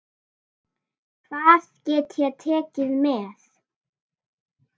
Hvað get ég tekið með?